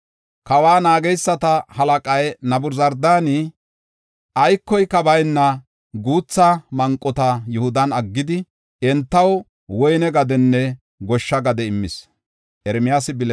Kawa naageysata halaqay Nabuzardaani aykoka bayna guutha manqota Yihudan aggidi, entaw woyne gadenne goshsha gade immis.